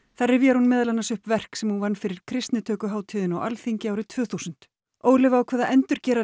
þar rifjar hún meðal annars upp verk sem hún vann fyrir á Alþingi árið tvö þúsund Ólöf ákvað að endurgera